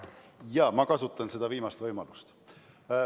Jaa, ma kasutan seda viimast võimalust.